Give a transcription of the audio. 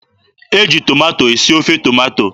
E ji tomato esi ofe tomato.